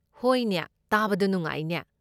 ꯍꯣꯏꯅꯦ, ꯇꯥꯕꯗ ꯅꯨꯡꯉꯥꯏꯅꯦ꯫